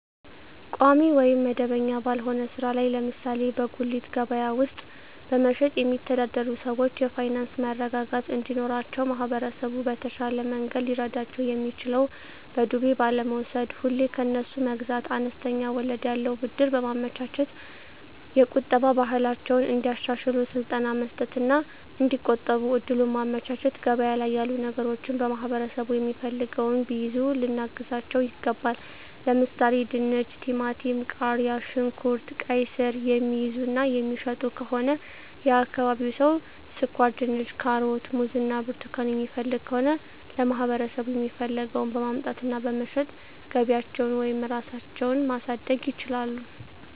ቋሚ ወይም መደበኛ ባልሆነ ሥራ ላይ ለምሳሌ በጉሊት ገበያ ውስጥ በመሸጥየሚተዳደሩ ሰዎች የፋይናንስ መረጋጋት እንዲኖራቸው ማህበረሰቡ በተሻለ መንገድ ሊረዳቸው የሚችለው በዱቤ ባለመውስድ፤ ሁሌ ከነሱ መግዛት፤ አነስተኛ ወለድ ያለው ብድር በማመቻቸት፤ የቁጠባ ባህላቸውን እንዲያሻሽሉ ስልጠና መስጠት እና እዲቆጥቡ እድሉን ማመቻቸት፤ ገበያ ላይ ያሉ ነገሮችን ማህበረሠቡ የሚፈልገውን ቢይዙ ልናግዛቸው ይገባል። ለምሣሌ፦፤ ድንች፤ ቲማቲም፤ ቃሪያ፣ ሽንኩርት፤ ቃይስር፤ የሚይዙ እና የሚሸጡ ከሆነ የአካባቢው ሠው ስኳርድንች፤ ካሮት፤ ሙዝ እና ብርቱካን የሚፈልግ ከሆነ ለማህበረሰቡ የሚፈልገውን በማምጣት እና በመሸጥ ገቢያቸውን ወይም ራሳቸው ማሣደግ ይችላሉ።